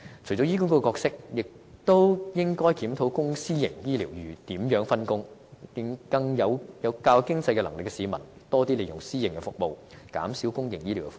除了醫管局的角色外，其實亦應檢討公私營醫療服務如何分工，讓較有經濟能力的市民多利用私營服務，減輕公營醫療的負擔。